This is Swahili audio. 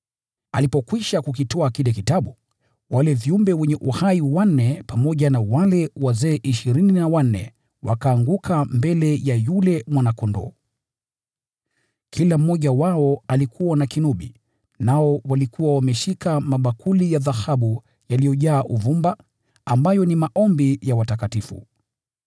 Alipokwisha kukitwaa kile kitabu, wale viumbe wenye uhai wanne pamoja na wale wazee ishirini na wanne wakaanguka mbele ya yule Mwana-Kondoo. Kila mmoja wao alikuwa na kinubi, nao walikuwa wameshika mabakuli ya dhahabu yaliyojaa uvumba, ambayo ni maombi ya watakatifu.